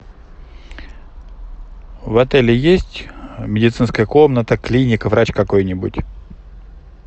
в отеле есть медицинская комната клиника врач какой нибудь